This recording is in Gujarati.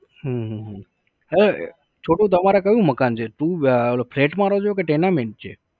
હમ હમ હમ છોટુ તમારે કયું મકાન છે તું flat માં રો છો કે tenament છે?